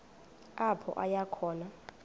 apho aya khona